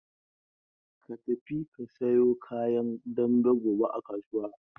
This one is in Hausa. Ka tafi ka sayo kayan dambe gobe a kasuwa!